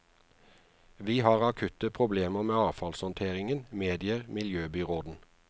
Vi har akutte problemer med avfallshåndteringen, medgir miljøbyråden.